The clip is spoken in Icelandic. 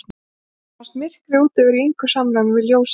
Mér fannst myrkrið úti vera í engu samræmi við ljósið inni.